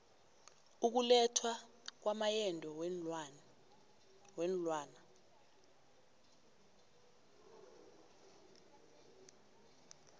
ukulethwa kwamaendo weenlwana